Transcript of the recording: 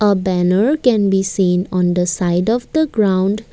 a banner can be seen on the side of the ground.